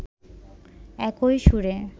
একই সুরে